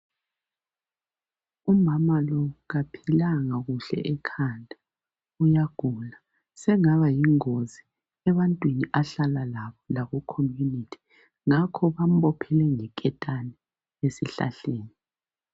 Umama lo kaphilanga kuhle ekhanda uyagula. Sengaba yingozi ebantwini ahlala labo laku community. Ngakho bamphophile ngeketani ezihlahleni.